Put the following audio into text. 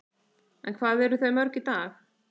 En hvað eru þau mörg í dag?